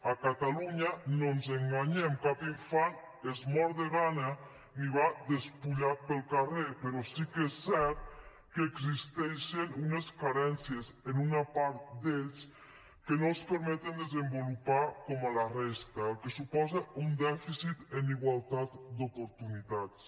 a catalunya no ens enganyem cap infant es mor de gana ni va despullat pel carrer però sí que és cert que existeixen unes carències en una part d’ells que no els permeten desenvolupar com a la resta el que suposa un dèficit en igualtat d’oportunitats